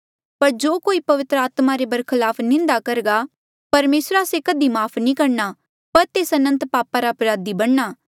पर जो कोई पवित्र आत्मा रे बरखलाफ निंदा करघा परमेसरा से कधी माफ़ नी करणा पर तेस अनंत पापा रा अपराधी बणना